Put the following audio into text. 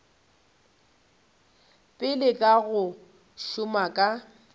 pele ka go šoma ka